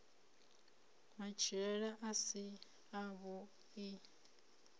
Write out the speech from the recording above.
matshilele a si a vhui